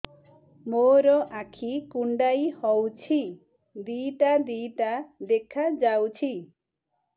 ମୋର ଆଖି କୁଣ୍ଡାଇ ହଉଛି ଦିଇଟା ଦିଇଟା ଦେଖା ଯାଉଛି